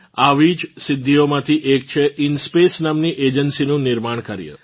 દેશની આવી જ સિધ્ધીઓમાંથી એક છે ઇન્સ્પેસ નામની એજન્સી નું નિર્માણ કાર્ય